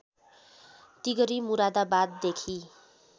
Tigri मुरादाबाददेखि